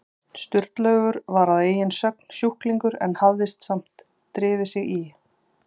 Sturlaugur var að eigin sögn sjúklingur en hafði samt drifið sig í